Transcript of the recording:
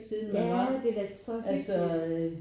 Ja det er da så hyggeligt